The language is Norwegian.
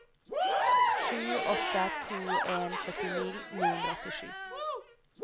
sju åtte to en førtini ni hundre og åttisju